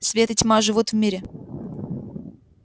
свет и тьма живут в мире